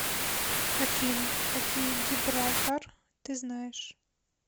афина какие гибралтар ты знаешь